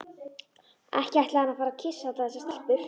Ekki ætlaði hann að fara að kyssa allar þessar stelpur.